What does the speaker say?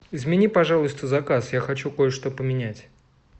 измени пожалуйста заказ я хочу кое что поменять